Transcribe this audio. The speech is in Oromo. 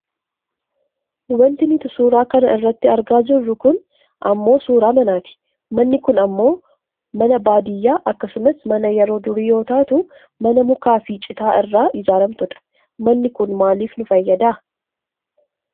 Wanti nuti suura kana irratti argaa jirru kun ammoo suuraa manaati. Manii kun ammoo mana baadiyyaa akkasumas mana yeroo durii yoo taatu mana mukaafi citaa irraa ijaarramtudha. Manni kun maaliif nu fayyada?